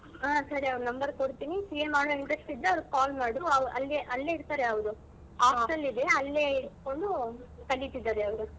ಹಾ ಸರಿ ಅವ್ರು number ಕೊಡ್ತಿನಿ CA ಮಾಡೋ interest ಇದ್ರೆ ಅವ್ರಿಗೆ call ಮಾಡು ಅವ್~ ಅಲ್ಲಿಯೇ ಅಲ್ಲಿಯೇ ಇರ್ತಾರೆ ಅವ್ರು hostel ಇದೆ ಅಲ್ಲೇ ಇದ್ಕೊಂಡ್ ಕಲಿತಿದ್ದಾರೆ ಅವ್ರು.